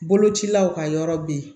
Bolocilaw ka yɔrɔ be yen